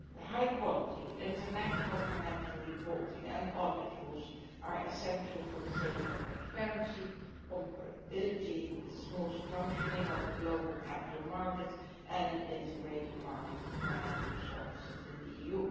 High quality international financial reporting and audit rules are essential for the sake of transparency, comparability, the smooth functioning of the global capital markets and an integrated market for financial services in the EU.